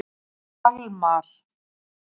Kalmar